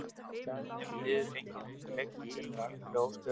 Í staðinn hefur liðið fengið unga leikmenn sem eru algjörlega óskrifað blað.